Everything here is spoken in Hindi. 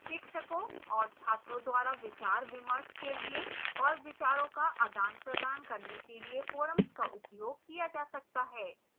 शिक्षकों और छात्रों द्वारा विचारविमर्श के लिए और विचारों का आदानप्रदान करने के लिए forums का उपयोग किया जा सकता है